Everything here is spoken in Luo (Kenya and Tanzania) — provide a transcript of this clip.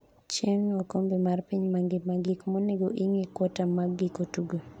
( chieng') okombe mar piny mangima gik monego ing'e kuota mag giko tuke